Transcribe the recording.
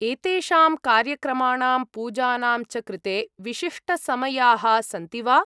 एतेषां कार्यक्रमाणां, पूजानां च कृते विशिष्टसमयाः सन्ति वा?